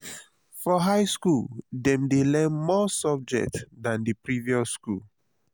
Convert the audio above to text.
for high school dem de learn more subject than the previous school